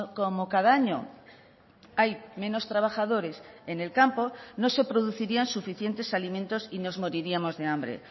como cada año hay menos trabajadores en el campo no se producirían suficientes alimentos y nos moriríamos de hambre